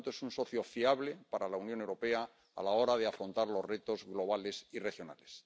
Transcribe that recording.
Por lo tanto, es un socio fiable para la Unión Europea a la hora de afrontar los retos globales y regionales.